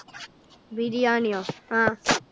ബിരിയാണ്യോ? ആഹ്